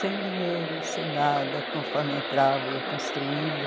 Sem dinheiro, sem nada, conforme entrava, ia construindo.